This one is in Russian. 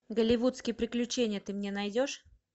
голливудские приключения ты мне найдешь